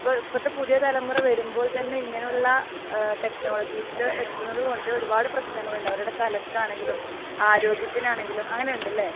ഇപ്പോഴത്തെ ഇപ്പോഴത്തെ പുതിയ തലമുറ വരുമ്പോൾ തന്നെ ഇങ്ങനെയുള്ള ടെക്നോളജീസിൽ എത്തുന്നതുകൊണ്ട് ഒരുപാട് പ്രശ്നങ്ങൾ ഉണ്ട്. അവരുടെ തലയ്ക്കു ആണെങ്കിലും ആരോഗ്യത്തിന് ആണെങ്കിലും. അങ്ങനെയുണ്ട് അല്ലേ?